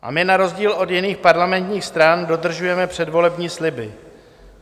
A my na rozdíl od jiných parlamentních stran dodržujeme předvolební sliby.